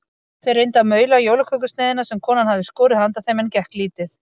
Þeir reyndu að maula jólakökusneiðina sem konan hafði skorið handa þeim en gekk lítið.